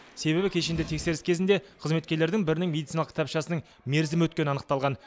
себебі кешенді тексеріс кезінде қызметкерлердің бірінің медициналық кітапшасының мерзімі өткені анықталған